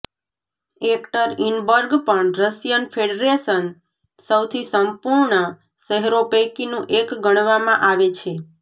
Yekaterinburg પણ Russian federation સૌથી સંપૂર્ણ શહેરો પૈકીનું એક ગણવામાં આવે છે